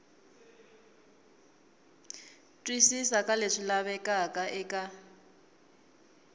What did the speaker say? twisisa ka leswi lavekaka eka